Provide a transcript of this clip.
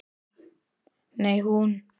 Nei, hún.